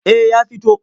Eh ya fito.